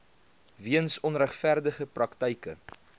weens onregverdige praktyke